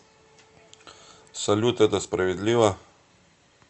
салют это справедливо